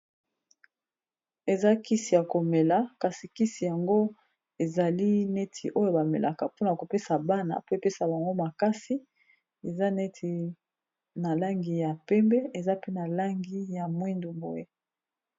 eza kisi ya komela kasi kisi yango ezali neti oyo bamelaka mpona kopesa bana po epesa bango makasi eza neti na langi ya pembe eza pe na langi ya mwindu boye